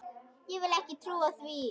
Ég vil ekki trúa því.